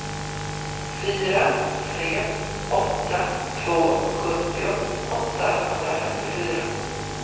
fyra tre åtta två sjuttio åttahundrafemtiofyra